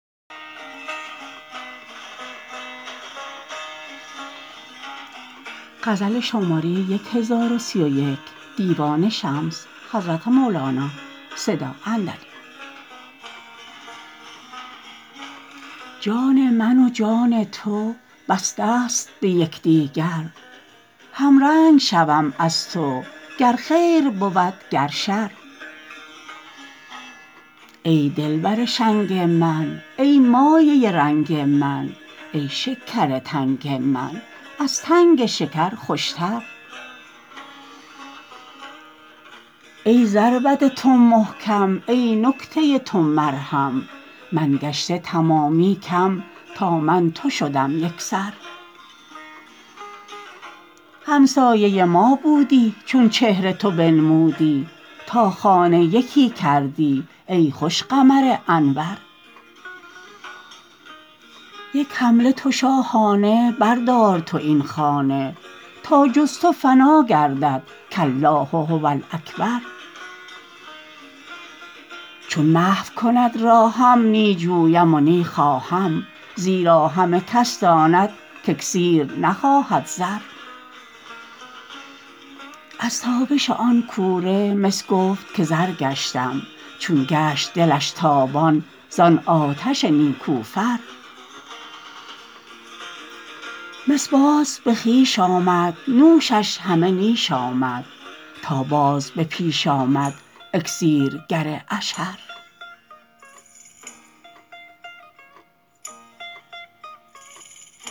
جان من و جان تو بستست به همدیگر همرنگ شوم از تو گر خیر بود گر شر ای دلبر شنگ من ای مایه رنگ من ای شکر تنگ من از تنگ شکر خوشتر ای ضربت تو محکم ای نکته تو مرهم من گشته تمامی کم تا من تو شدم یک سر همسایه ما بودی چون چهره تو بنمودی تا خانه یکی کردی ای خوش قمر انور یک حمله تو شاهانه بردار تو این خانه تا جز تو فنا گردد کالله هو الاکبر چون محو کند راهم نی جویم و نی خواهم زیرا همه کس داند که اکسیر نخواهد زر از تابش آن کوره مس گفت که زر گشتم چون گشت دلش تابان زان آتش نیکوفر مس باز به خویش آمد نوشش همه نیش آمد تا باز به پیش آمد اکسیرگر اشهر